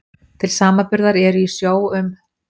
Til samanburðar eru í sjó um